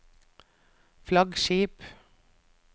flaggskip